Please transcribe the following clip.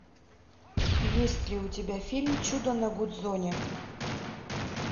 есть ли у тебя фильм чудо на гудзоне